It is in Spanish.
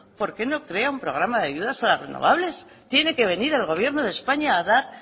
por qué no crea un programa de ayudas a las renovables tiene que venir el gobierno de españa a dar